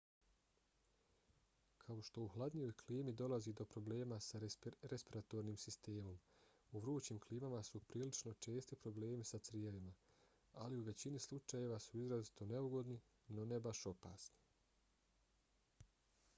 kao što u hladnijoj klimi dolazi do problema sa respiratornim sistemom u vrućim klimama su prilično česti problemi sa crijevima ali u većini slučajeva su izrazito neugodni no ne baš opasni